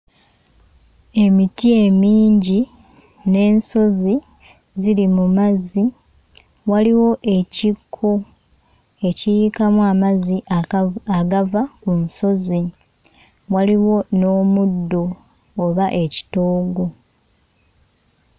Emiti emingi ne n'ensozi ziri mu mazzi, waliwo ekikko ekiyiikamu amazzi agavu... agava mu nsozi, waliwo n'omuddo oba ekitoogo.